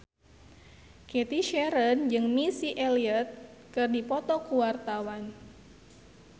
Cathy Sharon jeung Missy Elliott keur dipoto ku wartawan